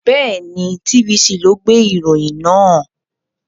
Bẹ́ẹ̀ni, TVC ni ó gbé ìròyìn náà.